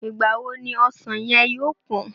Ìgbà wo ni ọsàn yẹn yóò pán?